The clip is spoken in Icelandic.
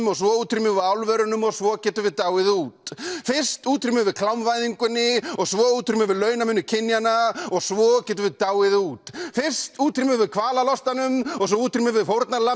og svo útrýmum við álverunum og svo getum við dáið út fyrst útrýmum við klámvæðingunni og svo útrýmum við launamuni kynjanna og svo getum við dáið út fyrst útrýmum við kvalalostanum og svo útrýmum við